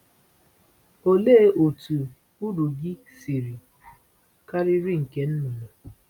Òlee otú uru gị siri karịrị nke nnụnụ?